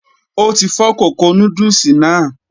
O ti fọ kókó núdùlsì náà.